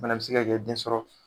O fɛnɛ be se ka kɛ den sɔrɔ